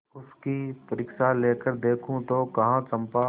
उसकी परीक्षा लेकर देखो तो कहो चंपा